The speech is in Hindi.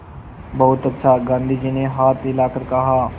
बहुत अच्छा गाँधी जी ने हाथ हिलाकर कहा